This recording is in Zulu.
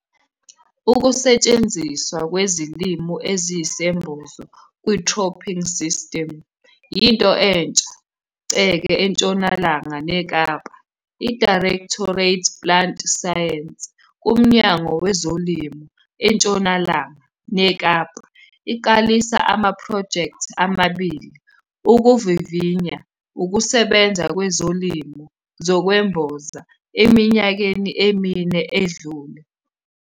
UKUSETSHENZISWA KWEZILIMO EZIYISEMBOZO KWI-CROPPING SYSTEMS YINTO ENTSHA CEKE ENTSHONALANGA NEKAPA. IDIRECTORATE PLANT SCIENCES KUMNYANGO WEZOLIMO ENTSHONALANGA NEKAPA IQALISE AMAPHROJEKTHI AMABILI UKUVIVINYA UKUSEBENZA KWEZILIMO ZOKWEMBOZA EMINYAKENI EMINE EDLULE.